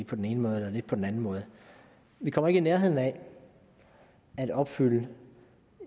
på den ene måde eller lidt på den anden måde vi kommer ikke i nærheden af at opfylde